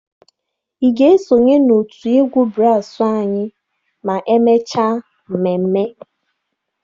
Ị ga-esonye n'òtù egwu braasụ anyị ma emechaa mmemme?